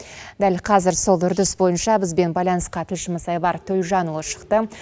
дәл қазір сол үрдіс бойынша бізбен байланысқа тілшіміз айбар төлжанұлы шықты